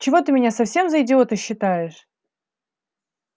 чего ты меня совсем за идиота считаешь